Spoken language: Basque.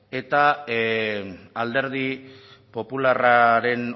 eta alderdi popularraren